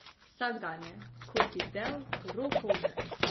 Vsakdanje, kot bi del roko v žep.